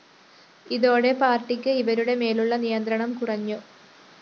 ഇതോടെ പാര്‍ട്ടിക്ക് ഇവരുടെ മേലുള്ള നിയന്ത്രണം കുറഞ്ഞു